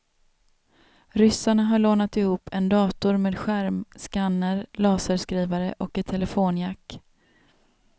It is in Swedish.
Ryssarna har lånat ihop en dator med skärm, scanner, laserskrivare och ett telefonjack.